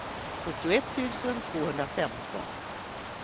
sjuttioett tusen tvåhundrafemton